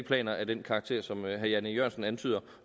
planer af den karakter som herre jan e jørgensen antyder